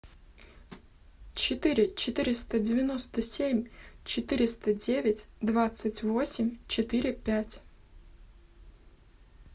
четыре четыреста девяносто семь четыреста девять двадцать восемь четыре пять